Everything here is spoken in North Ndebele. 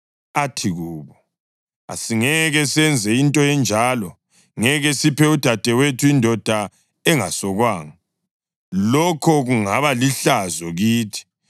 Athi kubo, “Asingeke senze into enjalo; ngeke siphe udadewethu indoda engasokwanga. Lokho kungaba lihlazo kithi.